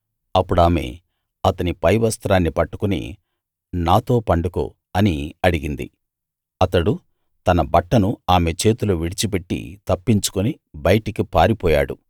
అప్పుడామె అతని పై వస్త్రాన్ని పట్టుకుని నాతో పండుకో అని అడిగింది అతడు తన బట్టను ఆమె చేతిలో విడిచిపెట్టి తప్పించుకుని బయటికి పారిపోయాడు